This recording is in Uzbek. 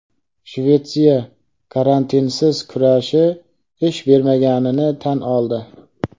Shvetsiya "karantinsiz kurashi" ish bermaganini tan oldi.